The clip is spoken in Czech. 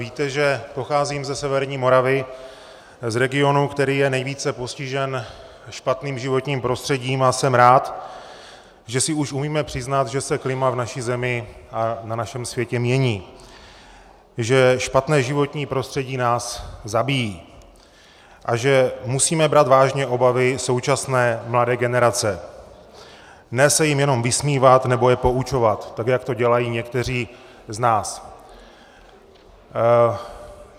Víte, že pocházím ze severní Moravy, z regionu, který je nejvíce postižen špatným životním prostředím, a jsem rád, že si už umíme přiznat, že se klima v naší zemi a na našem světě mění, že špatné životní prostředí nás zabíjí a že musíme brát vážně obavy současné mladé generace, ne se jim jenom vysmívat nebo je poučovat, tak jak to dělají někteří z nás.